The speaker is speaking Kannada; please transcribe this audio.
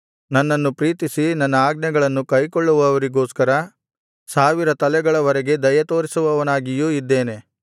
ನನ್ನನ್ನು ಪ್ರೀತಿಸಿ ನನ್ನ ಆಜ್ಞೆಗಳನ್ನು ಕೈಕೊಳ್ಳುವವರಿಗೋಸ್ಕರ ಸಾವಿರ ತಲೆಗಳವರೆಗೆ ದಯೆತೋರಿಸುವವನಾಗಿಯೂ ಇದ್ದೇನೆ